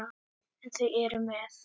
En eru þau með?